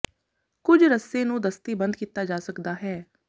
ਕੁਝ ਰੱਸੇ ਨੂੰ ਦਸਤੀ ਬੰਦ ਕੀਤਾ ਜਾ ਸਕਦਾ ਹੈ